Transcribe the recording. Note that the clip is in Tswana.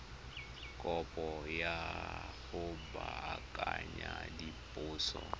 kopo ya go baakanya diphoso